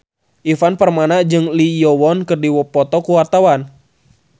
Ivan Permana jeung Lee Yo Won keur dipoto ku wartawan